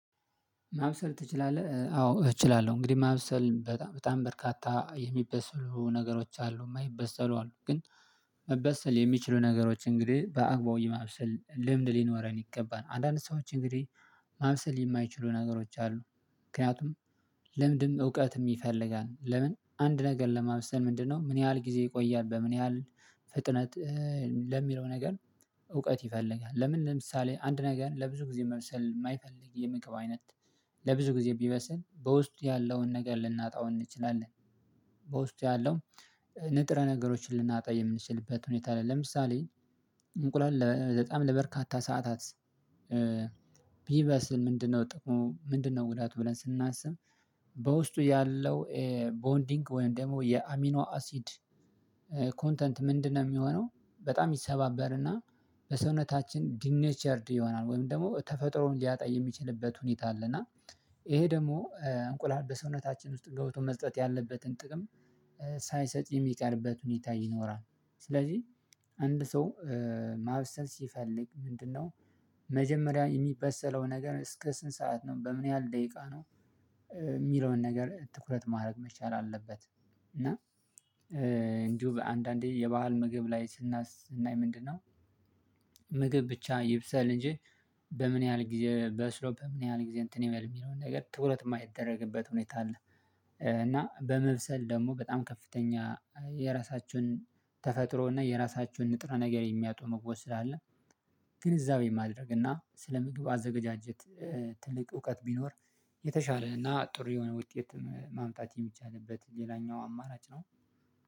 ማብሰል ትችላለህ? አዎ እችላለሁ እንግዲህ ማብሰል በጣም በጣም በርካታ የሚበሰሉ ነገሮች አሉ የማይበሰሉ አሉ ግን መበሰል የሚችሉ ነገሮች እንግዲህ በአግባቡ የማብሰል ልምድ ሊኖረን ይገባል አንዳንድ ሰዎች እንግዲህ ማብሰል የማይችሉ ነገሮች አሉ። ምክንያቱም ለምንድን እውቀት ይፈልጋል ለምን አንድ ነገር ለማምሰል ምንድነው ምን ያህል ጊዜ ይቆያል በምን ያህል ፍጥነት ለሚለው ነገር እውቀት ይፈልጋል። ለምን ለምሳሌ አንድ ነገር ለብዙ ጊዜ መሰል የማይፈልግ የምግብ አይነት ለብዙ ጊዜ ቢመስል በውስጡ ያለውን ነገር ልናጣው እንችላለን በውስጡ ያለውን ንጥረ ነገሮችን ልናጣ የምንችልበት ሁኔታ አለ። ለምሳሌ እንቁላል ለበርካታ ሰዓታት ቢበስል ምንድነው ጥቁሙ ምንድነው ጉዳቱ ብለን ስናስብ በውስጡ ያለው ቦንዲንግ ወይም ደግሞ የአሚኖ አሲድ ኮንተንት ምንድነው የሚሆነው በጣም ይሰባበርና በሰውነታችን ዲነቸርድ ይሆናል ወይም ደግሞ ተፈጥሮን ሊያጣ የሚችልበት ሁኔታ አለና ይሄ ደግሞ እንቁላል በሰውነታችን ውስጥ ገብቶ መስጠት ያለበትን ጥቅም ሳይሰጥ የሚቀርበት ሁኔታ ይኖራል። ስለዚህ አንድ ሰው ማብሰል ሲፈልግ ምንድነው መጀመሪያ የሚበሰለው ነገር እስከ ስንት ሰዓት ነው በምን ያህል ደቂቃ ነው የሚለውን ነገር ትኩረት ማድረግ መቻል አለበት። እና እንዲሁ በአንዳንዴ የባህል ምግብ ላይ ስናይ ምንድነው ምግብ ብቻ ይብሰል እንጂ በምን ያህል ጊዜ በስሎ በምን ያህል ጊዜ እንትን የሚለውን ነገር ትኩረት የማይደረግበት ሁኔታ አለ። እና በመብሰል ደግሞ በጣም ከፍተኛ የራሳችሁን ተፈጥሮና የራሳችሁን ንጥረ ነገር የሚያጡ ምግቦች ስላለ ግን እዛው የማድረግና ስለ ምግቡ አዘጋጃጀት ትልቅ እውቀት ቢኖር የተሻለ እና ጥሩ የሆነ ውጤትም ማምጣት የሚቻልበት ሌላኛው አማራጭ ነው።